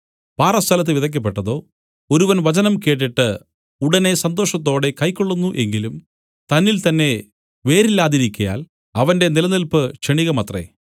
പാറസ്ഥലത്ത് വിതയ്ക്കപ്പെട്ടതോ ഒരുവൻ വചനം കേട്ടിട്ട് ഉടനെ സന്തോഷത്തോടെ കൈക്കൊള്ളുന്നു എങ്കിലും തന്നിൽ തന്നെ വേരില്ലാതിരിക്കയാൽ അവന്റെ നിലനില്പ് ക്ഷണികമത്രേ